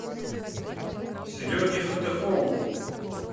сереге фатыхову